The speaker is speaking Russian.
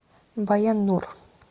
баян нур